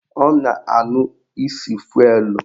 Ọ na-anụ isi fụelụ